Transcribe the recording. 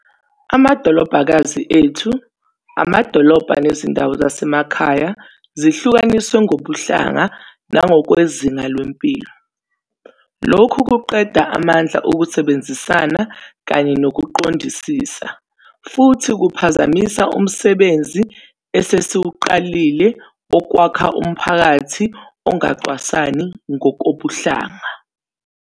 Amadolobhakazi ethu, amadolobha nezindawo zasemakhaya zisahlukaniswe ngokobuhlanga nangokwezinga lempilo. Lokhu kuqeda amandla okusebenzisana kanye nokuqondisisa, futhi kuphazamisa umsebenzi esesiwuqalile wokwakha umphakathi ongacwasani ngokobuhlanga.